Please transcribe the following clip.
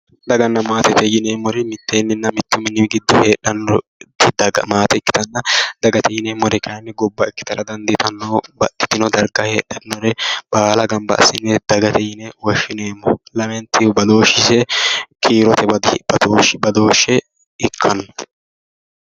Daganna maate yineemmori mittu mini giddo heedhannori maate ikkitanna dagate yineemmori kayinni gobba ikkitara dandiitanno babbaxinore baala gamba assine dagate yine woshshineemmo lamentihu badooshshise kiirote badooshshe ikkanno